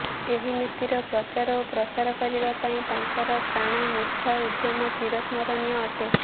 ଏହି ନୀତିର ପ୍ରଚାର ଓ ପ୍ରସାର କରିବା ପାଇଁ ତାଙ୍କର ପ୍ରାଣମୁର୍ଚ୍ଛା ଉଦ୍ୟମ ଚିରସ୍ମରଣୀୟ ଅଟେ